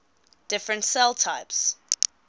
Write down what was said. different cell types